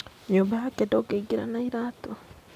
Nyũmba yake ndũngĩingĩra na iratũ